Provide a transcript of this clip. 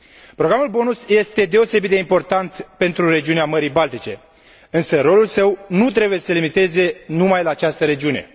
Programul BONUS este deosebit de important pentru regiunea Mării Baltice, însă rolul său nu trebuie să se limiteze numai la această regiune.